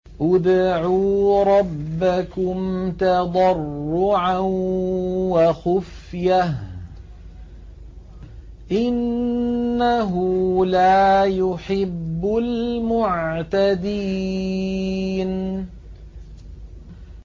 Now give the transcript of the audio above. ادْعُوا رَبَّكُمْ تَضَرُّعًا وَخُفْيَةً ۚ إِنَّهُ لَا يُحِبُّ الْمُعْتَدِينَ